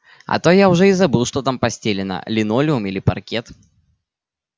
а то я уже и забыл что там постелено линолеум или паркет